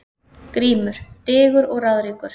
GRÍMUR: Digur og ráðríkur